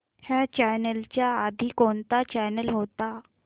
ह्या चॅनल च्या आधी कोणता चॅनल होता